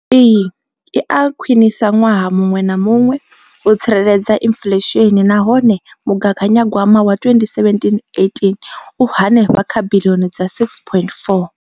Iyi i a khwiniswa ṅwaha muṅwe na muṅwe u tsireledza inflesheni nahone mugaganya gwama wa 2017,18 u henefha kha biḽioni dza R6.4.